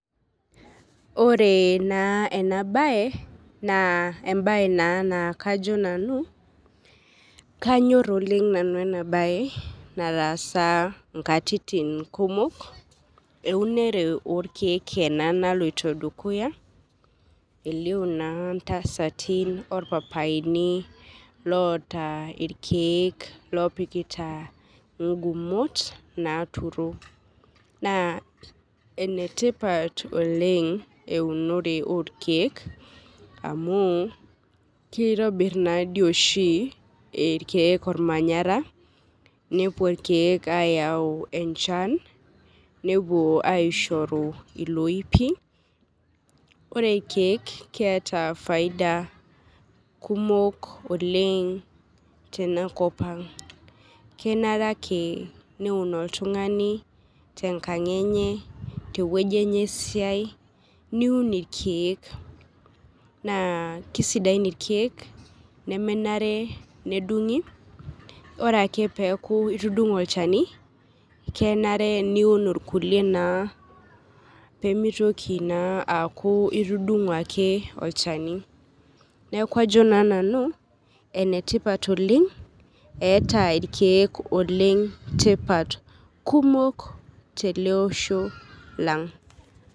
Oree naa ena baye naa embaye naa naakajo nanu kanyorr oleng' nanu enabaye nataasa inkatitin kumok. Eunore orkeek ena naloito dukuya, elio naa ntasati orpapaini loota ilkeek lopikita ingumot naaturo, naa enetipat oleng' eunore orkeek amuu keitobirr naadi oshi irkeek olmanyara nepuo ilkeek ayau enchan, nepuo aishoru iloipi, ore irkeek keeta faida kumok oleng' tenakop ang', kenare ake neun oltung'ani tenkang' enye, tewueji enye esiai niun ilkeek, naa keisidain ilkeek nemenare nedung'i, ore peeaku itudung'o olchani kenare niun irkulie naa peemeitoki naa aku itudung'o ake olchani. Neaku ajo naa nanu enetipat oleng' eeta irkeek oleng tipat kumok teleosho lang'.